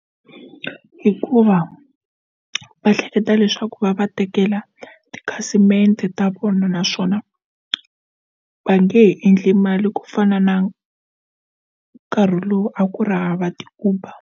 Hikuva va hleketa leswaku va va tekela tikhasimende ta vona naswona va nge he endli mali ku fana na nkarhi lowu a ku ri hava ti uber.